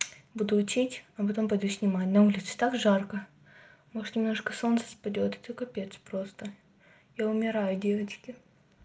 буду учить а потом пойду снимать на улице так жарко может немножко солнце спадёт это капец просто я умираю девочки